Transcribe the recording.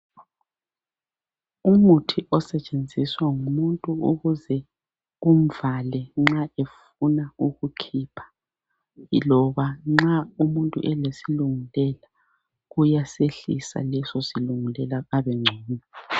Umuthi osetshenziswa ngumuntu ukuze kumvale nxa efuna ukukhipha loba anxa umuntu elesilungulela kuyasehlisa leso silungulela abengcono.